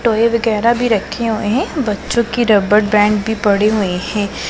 Toy वगैरा भी रखे हुए हैं बच्चों कि रबड़ बैंड भी पड़े हुए हैं।